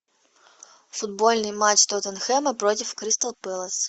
футбольный матч тоттенхэма против кристал пэлас